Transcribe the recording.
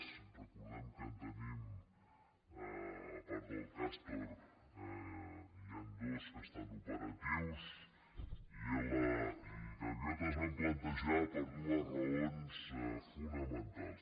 recordem que a part del cas·tor n’hi han dos que estan operatius yela i gaviota es van plantejar per dues raons fonamentals